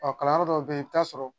Ɔ kalanyɔrɔ dɔw bɛ yen i bɛ t'a sɔrɔ